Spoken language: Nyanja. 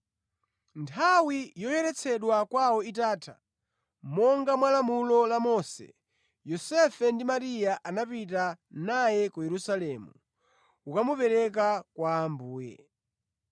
Nthawi yoyeretsedwa kwawo itatha, monga mwa lamulo la Mose, Yosefe ndi Mariya anapita naye ku Yerusalemu kukamupereka kwa Ambuye.